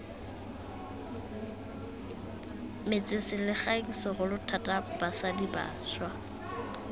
metsengselegae segolo thata basadi bašwa